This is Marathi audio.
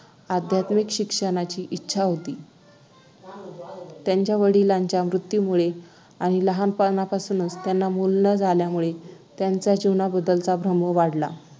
आध्यात्मिक शिक्षणाची इच्छा होती त्यांच्या वडिलांच्या मृत्यूमुळे आणि लग्नापासून त्यांना मूल न झाल्यामुळे त्यांचा जीवनाबद्दलचा भ्रम वाढला